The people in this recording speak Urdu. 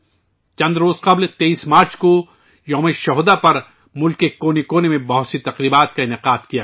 چند روز قبل 23 مارچ کو شہید دِوس پر ملک کے الگ الگ کونوں میں الگ الگ تقریبات کا اہتمام کیا گیا